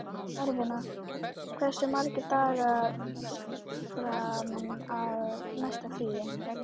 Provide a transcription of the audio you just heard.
Eirfinna, hversu margir dagar fram að næsta fríi?